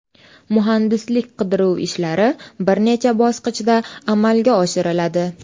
Muhandislik qidiruv ishlari bir necha bosqichda amalga oshiriladi.